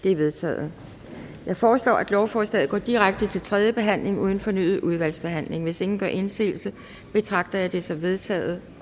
det er vedtaget jeg foreslår at lovforslaget går direkte til tredje behandling uden fornyet udvalgsbehandling hvis ingen gør indsigelse betragter jeg dette som vedtaget